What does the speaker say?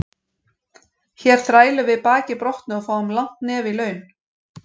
Hér þrælum við baki brotnu og fáum langt nef í laun.